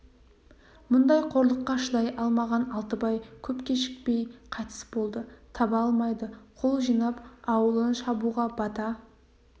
мұндай қорлыққа шыдай алмаған алтыбай көп кешікпей қайтыс болды таба алмайды қол жинап аулын шабуға бата